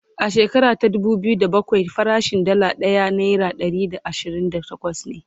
a shekara ta dubu biyu da bakwai farashin Dalla ɗaya naira Ɗari da ashirin da takwas ne